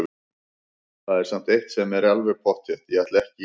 Það er samt eitt sem er alveg pottþétt: Ég ætla ekki í lögfræði!